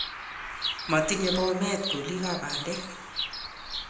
matinyei bomet kolikab bandek